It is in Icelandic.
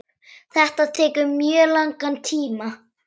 Þetta tekur mjög langan tíma.